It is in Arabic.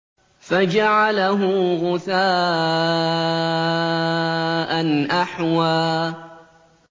فَجَعَلَهُ غُثَاءً أَحْوَىٰ